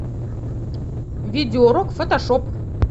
видео урок фотошоп